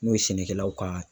N'o ye sɛnɛkɛlaw ka